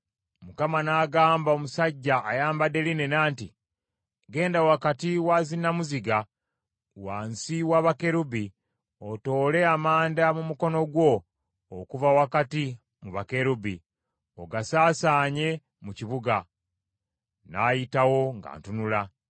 Mukama n’agamba omusajja ayambadde linena nti, “Genda wakati wa zinnamuziga wansi wa bakerubi, otoole amanda mu mukono gwo okuva wakati mu bakerubi, ogasaasaanye mu kibuga.” N’ayitawo nga ntunula.